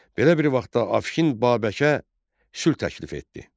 Belə bir vaxtda Afşin Babəkə sülh təklif etdi.